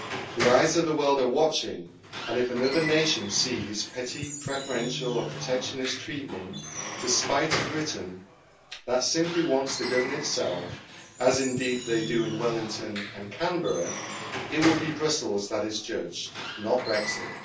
The eyes of the world are watching, and if another nation sees petty, preferential or protectionist treatment to spite a Britain that simply wants to govern itself, as indeed they do in Wellington and Canberra, it will be Brussels that is judged, not Brexit.